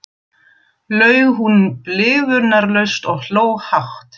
laug hún blygðunarlaust og hló hátt.